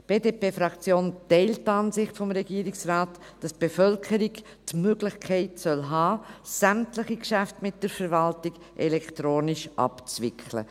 Die BDP-Fraktion teilt die Ansicht des Regierungsrates, wonach die Bevölkerung die Möglichkeit haben soll, Geschäfte mit der Verwaltung elektronisch abzuwickeln.